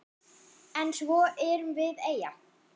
En svo erum við eyja.